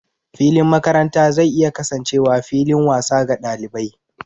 Filin makaranta zai iya kasancewa fillin wasa ga ɗalibai.